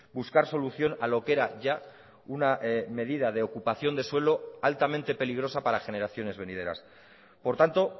buscar solución a lo que era ya una medida de ocupación de suelo altamente peligrosa para generaciones venideras por tanto